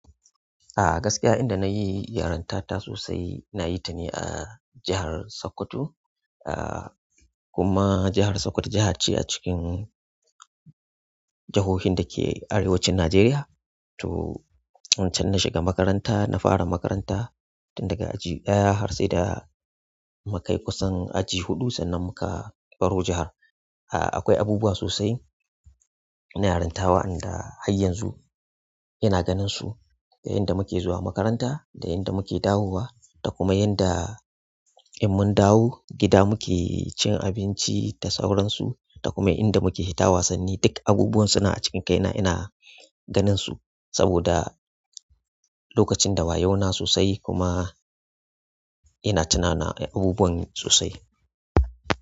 A gaskiya inda nayi yaranta ta sosai nayi ta ne a jahar Sokoto. Ah kuma jahar Sokoto jaha ce a cikin jahohin dake arewacin Nijeriya. To can na shiga makaranta, na fara makaranta tun daga aji ɗaya har sai da mukai kusan aji huɗu sannan muka baro jahar. Ah akwai abubuwa sosai na yaranta wa'anda har yanzu ina ganin su. Daga inda muke zuwa makaranta, da inda muke dawowa, da kuma inda in mun dawo gida muke cin abinci da sauransu da kuma inda muke fita wasanni duk abubuwan suna a cikin kai na ina ganin su. Saboda lokacin da wayo na sosai kuma ina tunana abubuwan sosai.